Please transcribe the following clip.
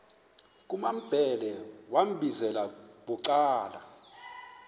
kumambhele wambizela bucala